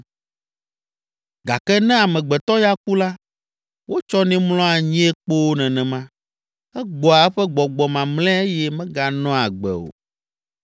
Gake ne amegbetɔ ya ku la, wotsɔnɛ mlɔa anyie kpoo nenema; egbɔa eƒe gbɔgbɔ mamlɛa eye meganɔa agbe o.